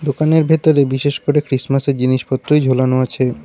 দোকানের ভেতরে বিশেষ করে ক্রিসমাসের জিনিসপত্রই ঝোলানো আছে।